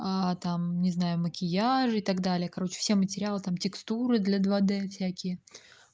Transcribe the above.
а там не знаю макияже и так далее короче все материалы там текстуры для два д всякие